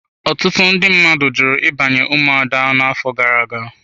Ọtụtụ ndị mmadụ jụrụ ịbanye ụmụada afọ gara aga.